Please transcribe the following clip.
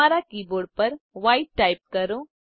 તમારા keyboard પર Whiteટાઈપ કરો